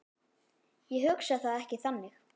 Ég hugsa það ekki þannig.